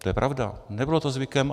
To je pravda, nebylo to zvykem.